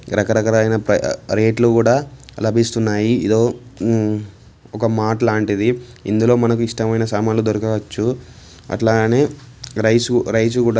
రక రకాలైన రేట్లు కూడా లభిస్తాయి ఇదో మ్మ్ ఒక మార్ట్ లాంటిది ఇందులో మనకు ఇష్టమైన సామాన్లు దొరకవచ్చు అట్లనే రైస్ -రైస్ కూడా --